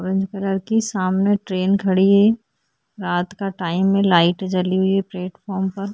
orange colour की सामने train सामने खड़ी है रात का टाइम है लाइट जली हुई है प्लेटफार्म पर --